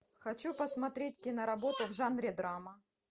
хочу посмотреть киноработу в жанре драма